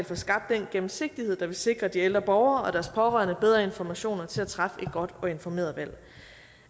får skabt den gennemsigtighed der vil sikre de ældre borgere og deres pårørende bedre informationer til at træffe et godt og informeret valg